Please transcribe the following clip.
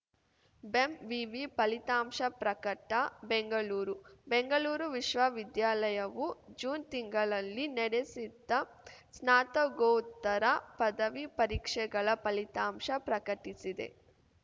ಬೆಂವಿವಿ ಫಲಿತಾಂಶ ಪ್ರಕಟ ಬೆಂಗಳೂರು ಬೆಂಗಳೂರು ವಿಶ್ವವಿದ್ಯಾಲಯವು ಜೂನ್‌ ತಿಂಗಳನಲ್ಲಿ ನಡೆಸಿದ್ದ ಸ್ನಾತಗೋತ್ತರ ಪದವಿ ಪರೀಕ್ಷೆಗಳ ಫಲಿತಾಂಶ ಪ್ರಕಟಿಸಿದೆ